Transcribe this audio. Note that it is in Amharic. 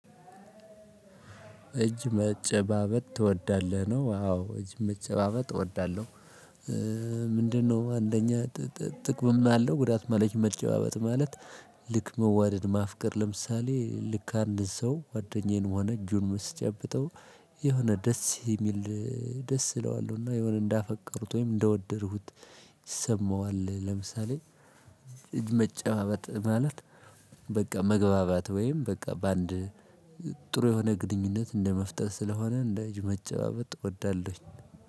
እጅ መጨባበጥ ትወዳለህ ነው? አው እጅ መጨባበጥ እወዳለሁ። ምንድነው አንደኛ ጥቅምም አለው ጉዳትም አለው። እጅ መጨባበጥ ማለት ልክ መዋደድ ማፍቀር ለምሳሌ ልክ አንድ ሰው ጓደኛዬንም ሆነ እጁን ስጨብጠው። የሆነ ደስ የሚል ደስ እለዋለሁና የሆነ እንዳፈቀርኩት ወይም እንደወደድኩት ይሰማዋል። ለምሳሌ መጨባበጥ ማለት በቃ መግባባት ወይም በቃ በአንድ ጥሩ የሆነ ግንኙነት እንደመፍጠር ስለሆነ። እንደ እጅ መጨባበጥ እወዳለሁኝ